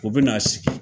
U bɛ na sigi